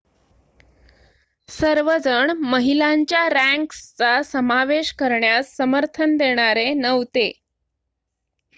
सर्वजण महिलांच्या रँक्सचा समावेश करण्यास समर्थन देणारे नव्हते